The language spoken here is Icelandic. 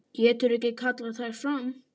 Getur ekki kallað þær fram.